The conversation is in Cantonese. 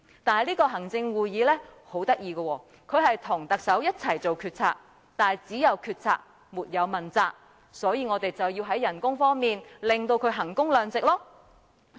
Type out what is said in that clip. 但是，行會很有趣，它跟特首一起作出決策，但只有決策，沒有問責，所以，我們便要在薪酬上令他們衡工量值。